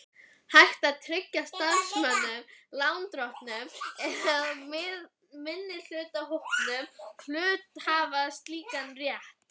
hægt að tryggja starfsmönnum, lánardrottnum eða minnihlutahópum hluthafa slíkan rétt.